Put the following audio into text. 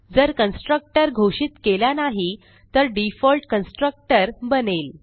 जर कन्स्ट्रक्टर घोषित केला नाही तर डिफॉल्ट कन्स्ट्रक्टर बनेल